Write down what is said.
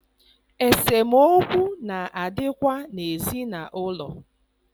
Esemokwu na adịkwa n'ezinaụlọ.